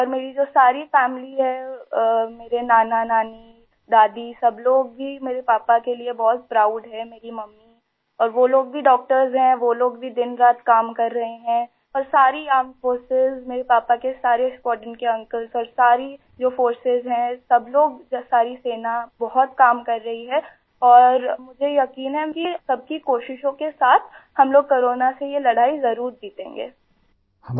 और मेरी जो सारी फैमिली है मेरे नानानानी दादी सब लोग ही मेरे पापा के लिए बहुत प्राउड हैं मेरी मम्मी और वो लोग भी डॉक्टर्स हैं वो लोग भी दिन रात काम कर रहे हैं और सारी आर्मेड फोर्सेस मेरे पापा के सारे स्क्वाड्रॉन के अंकल्स और सारी जो फोर्सेस हैं सब लोग सारी सेना बहुत काम कर रही है और मुझे यकीन है कि सबकी कोशिशों के साथ हम लोग कोरोना से यह लड़ाई ज़रूर जीतेंगे आई